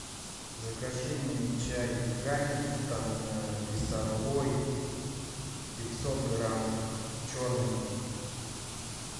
закажи мне чай гамильтон весовой пятьсот грамм черный